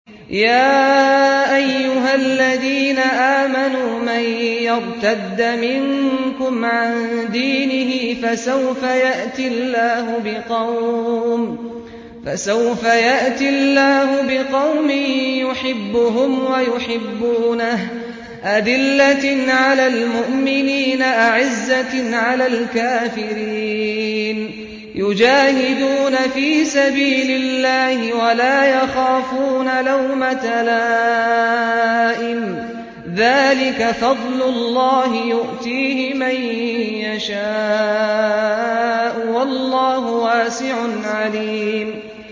يَا أَيُّهَا الَّذِينَ آمَنُوا مَن يَرْتَدَّ مِنكُمْ عَن دِينِهِ فَسَوْفَ يَأْتِي اللَّهُ بِقَوْمٍ يُحِبُّهُمْ وَيُحِبُّونَهُ أَذِلَّةٍ عَلَى الْمُؤْمِنِينَ أَعِزَّةٍ عَلَى الْكَافِرِينَ يُجَاهِدُونَ فِي سَبِيلِ اللَّهِ وَلَا يَخَافُونَ لَوْمَةَ لَائِمٍ ۚ ذَٰلِكَ فَضْلُ اللَّهِ يُؤْتِيهِ مَن يَشَاءُ ۚ وَاللَّهُ وَاسِعٌ عَلِيمٌ